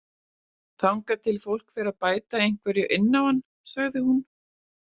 Þangað til fólk fer að bæta einhverju inn á hann, sagði hún.